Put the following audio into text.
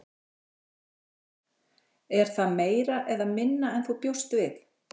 Þórhildur: Er það meira eða minna en þú bjóst við?